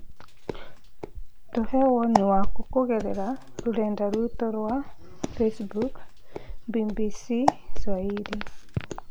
Tũhe woni waku kũgerera rũrenda rwĩtũ rwa facebook BBCSwahili